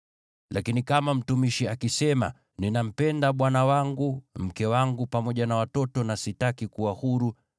“Lakini kama mtumishi akisema, ‘Ninampenda bwana wangu, mke wangu pamoja na watoto na sitaki kuwa huru,’